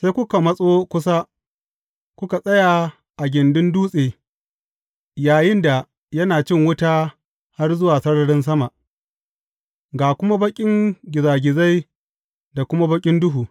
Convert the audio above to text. Sai kuka matso kusa, kuka tsaya a gindin dutse yayinda yana cin wuta har zuwa sararin sama, ga kuma baƙin gizagizai da kuma baƙin duhu.